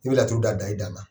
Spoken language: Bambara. I bɛ laturuda da i dan na.